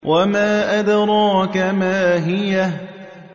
وَمَا أَدْرَاكَ مَا هِيَهْ